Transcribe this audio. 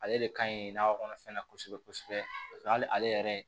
Ale de ka ɲi nakɔ kɔnɔfɛn na kosɛbɛ kosɛbɛ paseke hali ale yɛrɛ